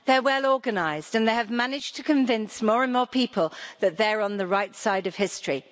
They're well organised and they have managed to convince more and more people that they're on the right side of history.